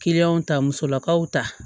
ta musolakaw ta